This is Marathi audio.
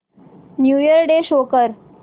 न्यू इयर डे शो कर